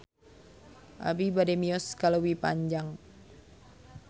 Abi bade mios ka Leuwi Panjang